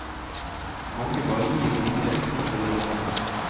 Man bare gir penger uten å følge dem opp.